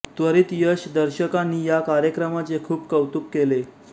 त्वरित यश दर्शकांनी या कार्यक्रमाचे खूप कौतुक केले